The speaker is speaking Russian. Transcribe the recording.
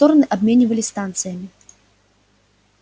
стороны обменивались станциями